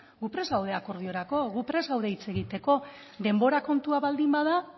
gu prest gaude akordiorako gu prest gaude hitz egiteko denbora kontua baldin bada